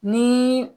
Ni